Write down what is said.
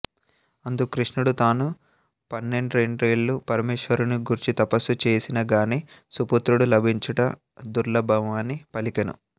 అందుకు కృష్ణుడు తాను పండ్రెండేండ్లు పరమేశ్వరుని గూర్చి తపస్సు చేసినగాని సుపుత్రుడు లభించుట దుర్లభమని పలికెను